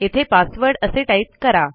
येथे पासवर्ड असे टाईप करा